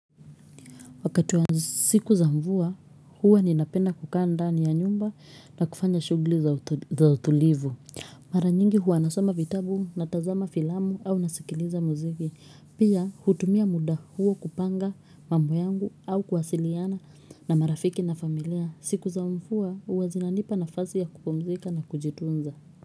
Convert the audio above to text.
Wakati wa siku za mvua, huwa ninapenda kuka ndani ya nyumba na kufanya shugli za utulivu. Mara nyingi huwa nasoma vitabu na tazama filamu au nasikiliza muziki. Pia, hutumia muda huwa kupanga mambo yangu au kuhasiliana na marafiki na familia. Siku za mvua, huwa zinanipa nafasi ya kupumzika na kujitunza.